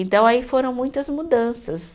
Então, aí foram muitas mudanças.